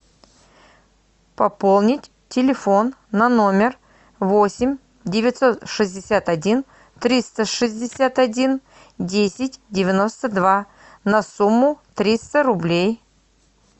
пополнить телефон на номер восемь девятьсот шестьдесят один триста шестьдесят один десять девяносто два на сумму триста рублей